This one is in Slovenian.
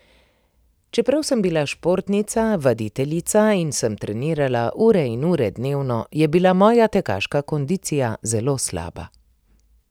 Čeprav sem bila športnica, vaditeljica in sem trenirala ure in ure dnevno, je bila moja tekaška kondicija zelo slaba.